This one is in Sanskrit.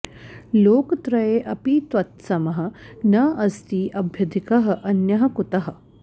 लोकत्रये अपि त्वत्समः न अस्ति अभ्यधिकः अन्यः कुतः